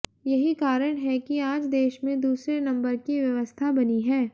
यही कारण है कि आज देश में दूसरे नम्बर की व्यवस्था बनी है